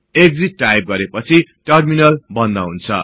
exit type गरेपछि terminal बन्द हुन्छ